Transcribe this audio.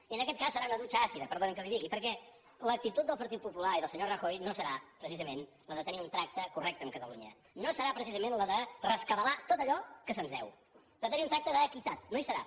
i en aquest cas serà una dutxa àcida perdoni’m que li ho digui perquè l’actitud del partit popular i del senyor rajoy no serà precisament la de tenir un tracte correcte amb catalunya no serà precisament la de rescabalar tot allò que se’ns deu de tenir un tracte d’equitat no ho serà